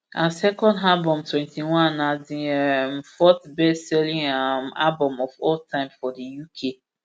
her second album twenty-one na di um fourth bestselling um album of all time for di uk